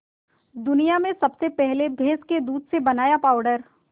दुनिया में सबसे पहले भैंस के दूध से बनाया पावडर